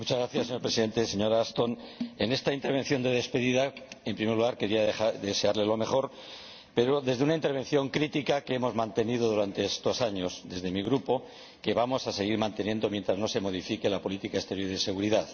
Señor Presidente, señora Ashton, en esta intervención de despedida en primer lugar quería desearle lo mejor, pero desde la postura crítica que hemos mantenido durante estos años desde mi grupo y que vamos a seguir manteniendo mientras no se modifique la política exterior y de seguridad.